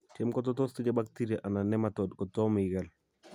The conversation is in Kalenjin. tiem ko tos tinyei baktiria anan nematode kotom igol